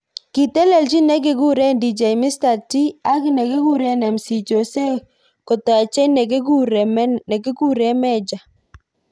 kitelejin nekikure Dj Mr .T ak nekikure MC Jose kotajei nekikure Mejja.